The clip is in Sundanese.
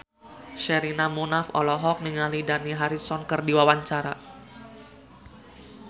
Sherina Munaf olohok ningali Dani Harrison keur diwawancara